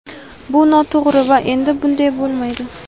Bu noto‘g‘ri va endi bunday bo‘lmaydi.